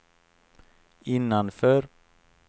innanför